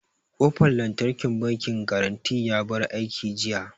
Ƙofan lantarkin bankin garanty ya bar aiki jiya